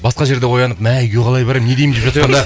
басқа жерде оянып мә үйге қалай барамын не деймін